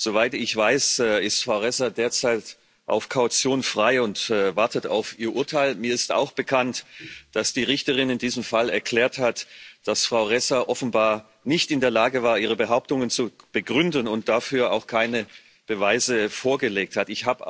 Soweit ich weiß, ist Frau Ressa derzeit auf Kaution frei und wartet auf ihr Urteil. Mir ist auch bekannt, dass die Richterin in diesem Fall erklärt hat, dass Frau Ressa offenbar nicht in der Lage war, ihre Behauptungen zu begründen, und dafür auch keine Beweise vorgelegt hat.